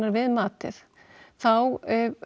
við matið þá